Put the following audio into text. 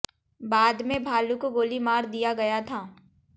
बाद में भालू को गोली मार दिया गया था